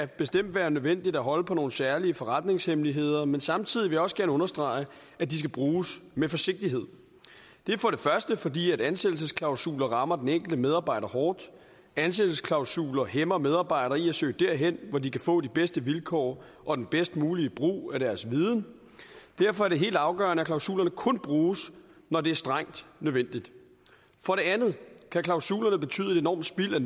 bestemt være nødvendigt at holde på nogle særlige forretningshemmeligheder men samtidig vil jeg også gerne understrege at de skal bruges med forsigtighed det er for det første fordi ansættelsesklausuler rammer den enkelte medarbejder hårdt og ansættelsesklausuler hæmmer medarbejdere i at søge derhen hvor de kan få de bedste vilkår og den bedst mulige brug af deres viden derfor er det helt afgørende at klausulerne kun bruges når det er strengt nødvendigt for det andet kan klausulerne betyde et enormt spild af